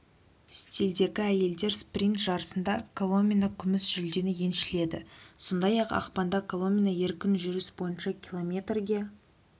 стильдегі әйелдер спринт жарысында коломина күміс жүлдені еншіледі сондай-ақ ақпанда коломина еркін жүріс бойынша километрге